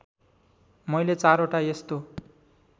मैले चारवटा यस्तो